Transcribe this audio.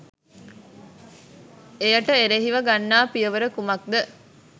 එයට එරෙහිව ගන්නා පියවර කුමක්ද?